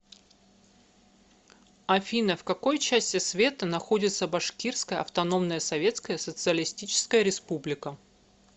афина в какой части света находится башкирская автономная советская социалистическая республика